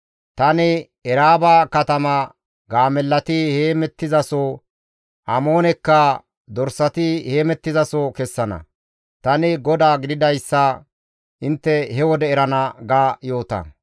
Tani Eraaba katama gaamellati heemettizaso, Amoone dorsatikka heemettizaso kessana; tani GODAA gididayssa intte he wode erana› ga yoota.